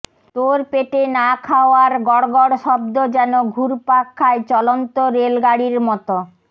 তোর পেটে না খাওয়ার গড়গড় শব্দ যেন ঘুরপাক খায় চলন্ত রেলগাড়ীর মতো